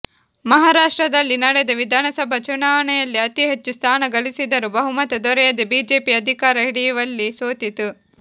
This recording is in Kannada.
ಮಹಾರಾಷ್ಟ್ರದಲ್ಲಿ ನಡೆದ ವಿಧಾನಸಭಾ ಚುನಾವಣೆಯಲ್ಲಿ ಅತಿಹೆಚ್ಚು ಸ್ಥಾನ ಗಳಿಸಿದರೂ ಬಹುಮತ ದೊರೆಯದೆ ಬಿಜೆಪಿ ಅಧಿಕಾರ ಹಿಡಿಯುವಲ್ಲಿ ಸೋತಿತು